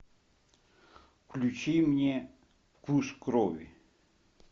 включи мне вкус крови